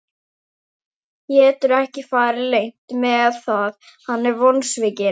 Getur ekki farið leynt með að hann er vonsvikinn.